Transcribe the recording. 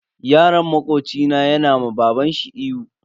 Yaron makoci na yana ma babanshi ihu.